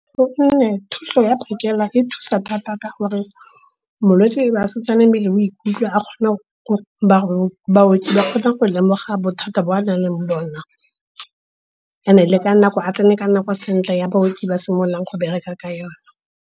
thuso ya phakela e thusa thata ka gore molwetse ba setse mmele o ikutlwa, baoki ba kgona go lemoga bothata bo a na leng bona. And-e le ka nako, a tsene ka nako sentle e baoki ba simololang go bereka ka yona.